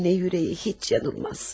Anne ürəyi heç yanılmaz.